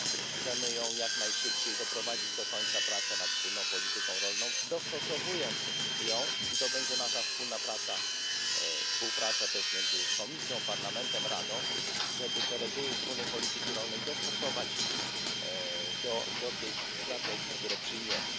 Chcemy jak najszybciej doprowadzić do końca prace nad wspólną polityką rolną, dostosowując ją, i to będzie nasza wspólna praca, współpraca też między Komisją, Parlamentem i Radą, żeby te reguły wspólnej polityki rolnej dostosować do tych strategii, które przyjmiemy.